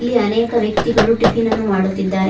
ಇಲ್ಲಿ ಅನೇಕ ವ್ಯಕ್ತಿಗಳು ಟಿಫಿನ್ ಅನ್ನು ಮಾಡುತ್ತಿದ್ದಾರೆ.